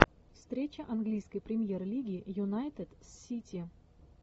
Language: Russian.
встреча английской премьер лиги юнайтед с сити